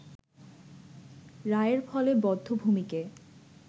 রায়ের ফলে বধ্যভূমিকে